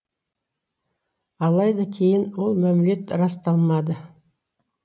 алайда кейін ол мәмілет расталмады